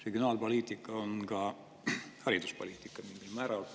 Regionaalpoliitika on mingil määral ka hariduspoliitika.